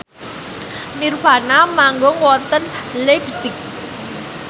nirvana manggung wonten leipzig